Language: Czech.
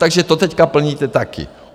Takže to teď plníte taky.